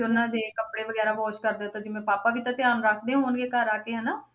ਉਹਨਾਂ ਦੇ ਕੱਪੜੇ ਵਗ਼ੈਰਾ wash ਕਰਦੇ ਹੋ ਤਾਂ ਜਿਵੇਂ ਪਾਪਾ ਵੀ ਤਾਂ ਧਿਆਨ ਰੱਖਦੇ ਹੋਣਗੇ ਘਰ ਆ ਕੇ ਹਨਾ।